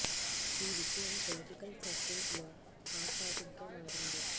ఈ విషయం political circles లో హాట్ టాపిక్ గా మారింది